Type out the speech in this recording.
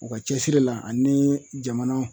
U ka cɛsiri la ani jamana